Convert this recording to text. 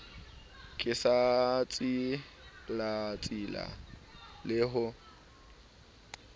ke sa tsilatsile le ho